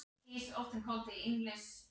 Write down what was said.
Danni gekk oftar undir nafninu Hinn.